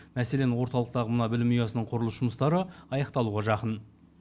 мәселен орталықтағы мына білім ұясының құрылыс жұмыстары аяқталуға жақын